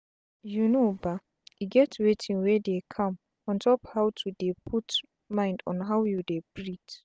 you know bah e get wetin wey dey calm ontop how to dey put mind on how you dey breath.